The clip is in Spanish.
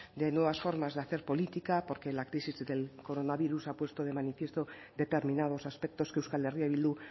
de nuevas formas de hacer política porque la crisis del coronavirus ha puesto de manifiesto determinados aspectos que euskal herria bildu